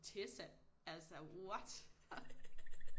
Tessa altså what